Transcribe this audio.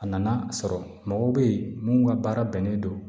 A nana sɔrɔ mɔgɔw be yen minnu ka baara bɛnnen don